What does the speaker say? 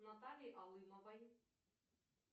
натальи алымовой